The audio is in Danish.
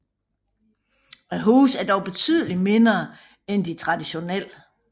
Husene er dog betydelig mindre end de traditionelle